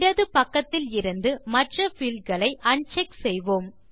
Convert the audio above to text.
இடது பக்கத்திலிருந்து மற்ற பீல்ட் களை அன்செக் செய்வோம்